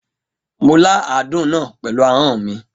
Mo la àádún náà pẹ̀lú ahọ́n mi.